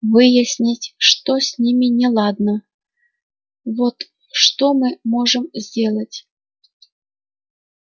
выяснить что с ними неладно вот что мы можем сделать